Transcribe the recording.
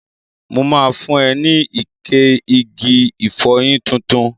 Mo ma fun ẹ ní ike igi ìfọyín tuntun.